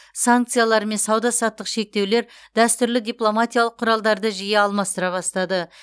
санкциялар мен сауда саттық шектеулер дәстүрлі дипломатиялық құралдарды жиі алмастыра бастады